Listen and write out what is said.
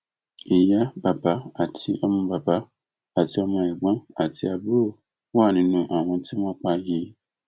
ìyá bàbá àti ọmọ bàbá àti ọmọ ẹgbọn àti àbúrò wà nínú àwọn tí wọn pa yìí